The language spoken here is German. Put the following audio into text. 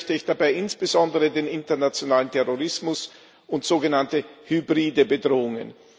Erwähnen möchte ich dabei insbesondere den internationalen Terrorismus und sogenannte hybride Bedrohungen.